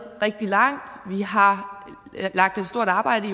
rigtig langt vi har lagt et stort arbejde